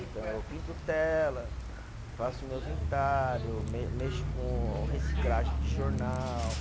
Então, eu pinto tela, faço meus entalho, me mexo com reciclagem de jornal.